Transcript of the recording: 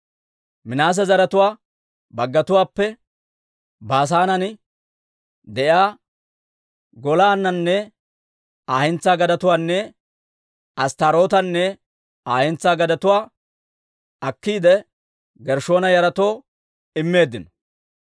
Minaase zaratuwaa baggatuwaappe Baasaanen de'iyaa Golaananne Aa hentsaa gadetuwaanne Asttaarootanne Aa hentsaa gadetuwaa akkiide, Gershshoona yaratoo immeeddino.